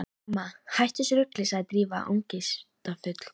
Mamma, hættu þessu rugli sagði Drífa angistarfull.